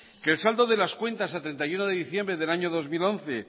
que el saldo de las cuentas a treinta y uno de diciembre del año dos mil once